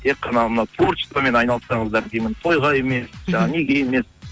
тек қана мынау творчествомен айналыссаңызар деймін тойға емес жаңағы неге емес